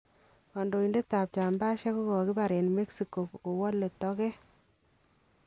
Kandoindet ab chambasiek kokakibaar en Mexico kowalee tokeet